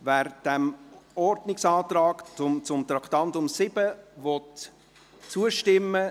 Wer dem Ordnungsantrag zu Traktandum 7 zustimmen will, stimmt Ja, wer dies nicht will, stimmt Nein.